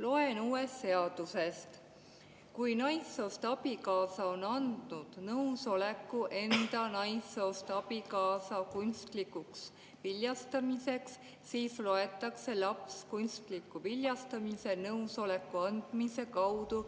Loen uuest seadusest, et kui naissoost abikaasa on andnud nõusoleku enda naissoost abikaasa kunstlikuks viljastamiseks, siis loetakse laps kunstliku viljastamise nõusoleku andmise kaudu